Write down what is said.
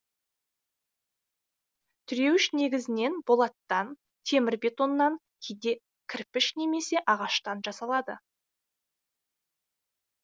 тіреуіш негізінен болаттан темір бетоннан кейде кірпіш немесе ағаштан жасалады